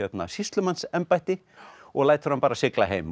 sýslumannsembætti og lætur hann bara sigla heim